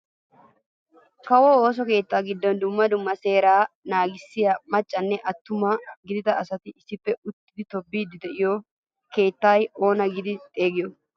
Kawo ooso keettaa giddon dumma dumma seeraa naagissiyaa maccanne attuma gidida asati issippe uttidi tobettiidi de'iyoo keettaa sunttaa oona giidi xeegiyoo?